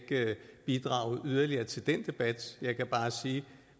bidrage yderligere til den debat jeg kan bare sige at